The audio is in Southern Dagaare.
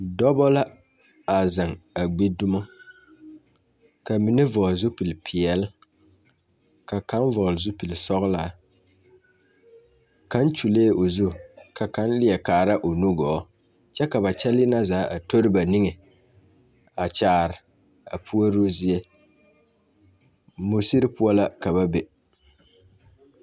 Dɔbɔ la a zeŋ a gbi dumo ka mine vɔɔle zupilpeɛl ka kaŋ vɔɔle zupilsɔglaa kaŋ kyulee o zu ka kaŋ leɛ kaara o nu gɔɔ kyɛ ka ba kyɛlii na zaa a tori ba niŋe a kyaare a puoruu zie musiri poɔ la ka ba be.